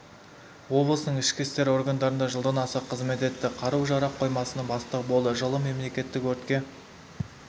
облысының ішкі істер органдарында жылдан аса қызмет етті қару-жарақ қоймасының бастығы болды жылы мемлекеттік өртке